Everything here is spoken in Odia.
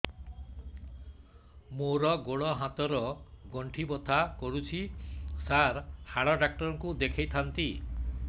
ମୋର ଗୋଡ ହାତ ର ଗଣ୍ଠି ବଥା କରୁଛି ସାର ହାଡ଼ ଡାକ୍ତର ଙ୍କୁ ଦେଖାଇ ଥାନ୍ତି